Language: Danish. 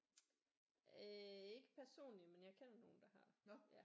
Øh ikke personligt men jeg kender nogen der har ja